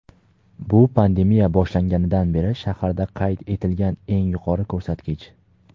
bu pandemiya boshlanganidan beri shaharda qayd etilgan eng yuqori ko‘rsatkich.